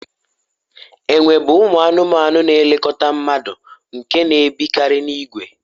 enwe bụ ụmụ anụmanụ na-elekọta mmadụ nke na-ebikarị n'ìgwè